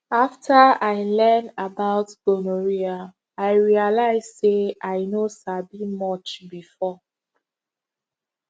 after i learn about gonorrhea i realize say i no sabi much before